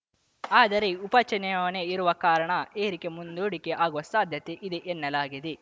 ಆದರೆ ಉಪಚುನಾವಣೆ ಇರುವ ಕಾರಣ ಏರಿಕೆ ಮುಂದೂಡಿಕೆ ಆಗುವ ಸಾಧ್ಯತೆ ಇದೆ ಎನ್ನಲಾಗಿದೆ